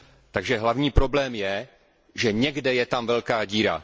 Takže hlavní problém je, že někde je tam velká díra.